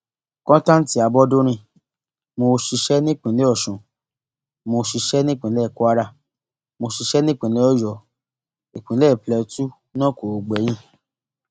kọńtántí abọdúnrin mo ṣiṣẹ nípìnlẹ ọsún mo ṣiṣẹ nípìnlẹ kwara mo ṣiṣẹ nípìnlẹ ọyọ ìpínlẹ plateau náà kò gbẹyìn